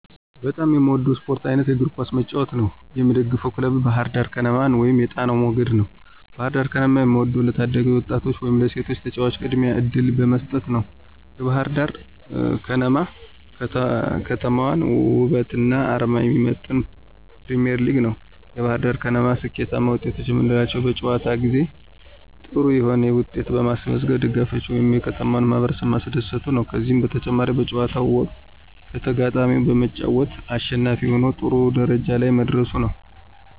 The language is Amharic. በጣም የምወደው የስፖርት አይነት የእግር ኳስ መጫወት ነው። የምደግፈው ክለብ ባህርዳር ከነማን ወይም የጣናው መገድ ነው። ባህርዳር ከነማን የምወደው ለታዳጊ ወጣቶች ወይም ለሴቶች ተጫዋቾች ቅድሚያ እድል በመስጠት ነዉ። የባህርዳር ከነማ የከተማዋን ወበትና አርማ የሚመጥን ፕሪሚዬርሊግ ነው። የባህርዳር ከነማ ስኬታማ ወጤቶች የምንላቸው በጨዋታ ጊዜ ጥሩ የሆነ ዉጤት በማስመዝገብ ደጋፊዎችን ወይም የከተማውን ማህበረሰብ ማስደሰቱ ነዉ። ከዚህም በተጨማሪ በጨዋታው ወቅት ከተጋጣሚው በመጫወት አሸናፊ ሁኖ ጥሩ ደረጃ ላይ መድረሱ ነው።